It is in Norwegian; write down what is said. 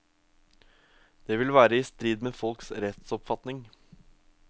Det vil være i strid med folks rettsoppfatning.